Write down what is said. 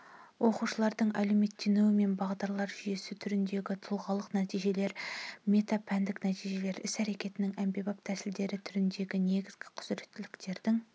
оқушылардың әлеуметтенуі мен бағдарлар жүйесі түріндегі тұлғалық нәтижелер метапәндік нәтижелер іс-әрекеттің әмбебап тәсілдері түріндегі негізгі құзіреттіліктердің